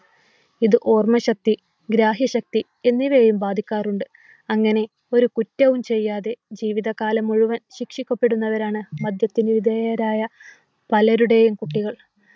ഇത് ഓർമ്മശക്തി ഗ്രാഹ്യശക്തി എന്നിവയെയും ബാധിക്കാറുണ്ട്. അങ്ങനെ ഒരു കുറ്റവും ചെയ്യാതെ ജീവിതകാലം മുഴുവൻ ശിക്ഷിക്കപ്പെടുന്നവരാണ് മദ്യത്തിന് വിധേയരായ പലരുടെയും കുട്ടികൾ.